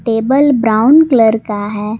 Table brown colour का है।